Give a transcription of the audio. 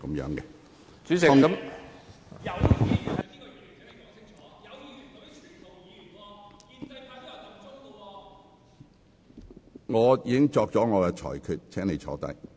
陳志全議員，我已作出裁決，請坐下。